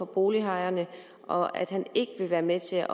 bolighajerne og at han ikke vil være med til